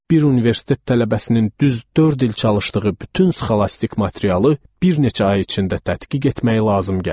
Bir universitet tələbəsinin düz dörd il çalışdığı bütün sxolastik materialı bir neçə ay içində tədqiq etmək lazım gəlirdi.